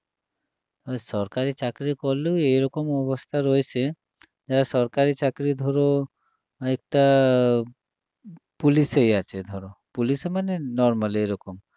সরকারী চাকরি করলেও এরকম অবস্থা রয়েছে যারা সরকারী চাকরি ধরো একটা পুলিশেই আছে ধরো পুলিশে মানে normal এরকম